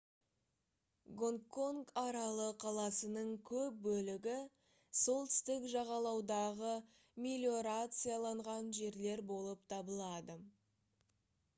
гонгконг аралы қаласының көп бөлігі солтүстік жағалаудағы мелиорацияланған жерлер болып табылады